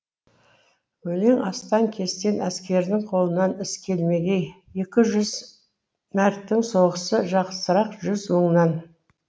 өлең астан кестен әскердің қолынан іс келмегей екі жүз мәрттің соғысы жақсырақ жүз мыңнан